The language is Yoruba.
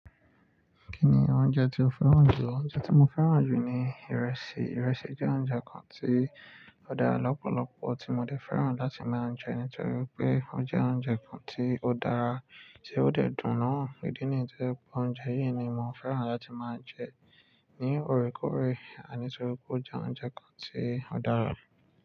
Kí ni oúnjẹ tí o fẹ́ràn jù? Oúnjẹ tí mo fẹ́ràn jù ni ìrẹsì. Ìrẹsì jẹ́ oúnjẹ kan tí ó dára lọ́pọ̀lọpọ̀, tí mo dẹ̀ fẹ́ràn láti máa ń jẹ nítorí pé ó jẹ́ oúnjẹ kan tí ó dára, tí ó dẹ́ dùn náà. Ìdí ní yí ti o jẹ́ pé oúnjẹ yìí ni mo fẹ́ràn láti máa ń jẹ ní òrékòré, nítorí pé ó jẹ́ oúnjẹ kan tí ó dára.